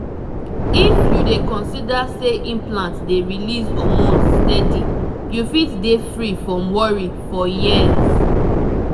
if you dey consider say implant dey release hormones steady you fit dey free from worry for years